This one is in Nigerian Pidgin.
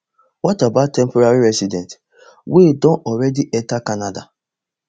what about temporary residents wey don already enta canada